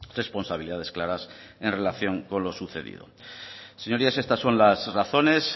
responsabilidades claras en relación con lo sucedido señorías estas son las razones